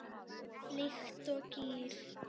Líkt og gír